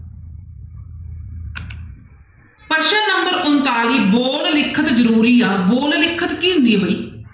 ਪ੍ਰਸ਼ਨ number ਉਣਤਾਲੀ ਬੋਲ ਲਿਖਤ ਜ਼ਰੂਰੀ ਆ ਬੋਲ ਲਿਖਤ ਕੀ ਹੁੰਦੀ ਹੈ ਬਾਈ।